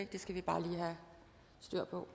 det skal vi bare lige have styr på